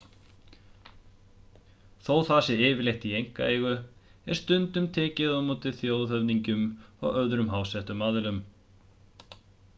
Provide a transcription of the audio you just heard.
þó það sé yfirleitt í einkaeigu er stundum tekið á móti þjóðhöfðingjum og öðrum háttsettum aðilum